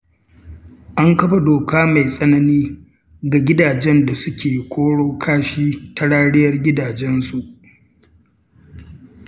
An kafa doka mai tsanani ga gidajen da suke koro kashi ta rariyar gidajensu.